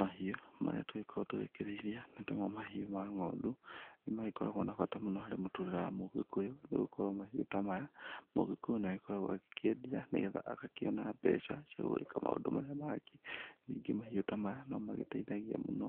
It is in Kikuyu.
Mahiũ marĩa tũgĩkoragwo tũgĩkĩrĩithia nĩmo ta mahiũ ma ng'ondu nĩ magĩkoragwo na bata mũno harĩ mũtũrĩre wa mũgĩkũyũ nĩ gũgĩkorwo mahiũ ta maya mũgĩkũyũ nĩ akoragwo akĩendia nĩgetha agakĩona mbeca cia gũgĩka maũndũ marĩa mangĩ, ningĩ mahiũ ta maya no magĩteithagĩa mũno